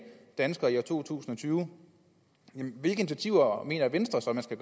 danskere i to tusind og tyve hvilke initiativer mener venstre så der skal